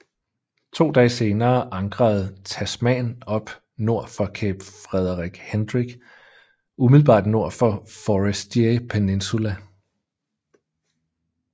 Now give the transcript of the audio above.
To dage senere ankrede Tasman op nord for Cape Frederick Hendrick umiddelbart nord for Forestier Peninsula